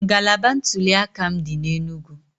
Ngalaba ntuliaka m dị n'Enugwu